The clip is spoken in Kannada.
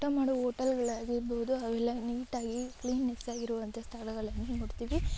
ಊಟ ಮಾಡುವ ಹೋಟೆಲ್‌ಗಳು ಆಗಿರಬಹುದು ಅವೆಲ್ಲಾ ನೀಟ್‌ ಆಗಿ ಕ್ಲೀನ್‌ನೆಸ್ ಆಗಿರುವಂತಹ ಸ್ಥಳಗಳನ್ನು ನೋಡ್ತೀವಿ.